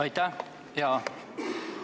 Aitäh!